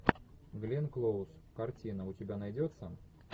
гленн клоуз картина у тебя найдется